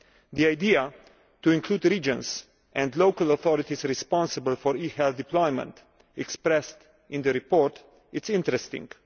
The idea of including regions and local authorities responsible for e health deployment expressed in the report is interesting.